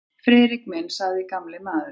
Friðrik minn sagði gamli maðurinn.